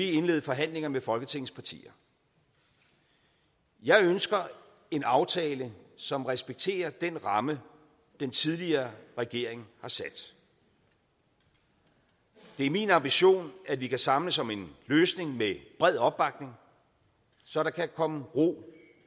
indlede forhandlinger med folketingets partier jeg ønsker en aftale som respekterer den ramme den tidligere regering har sat det er min ambition at vi kan samles om en løsning med bred opbakning så der kan komme ro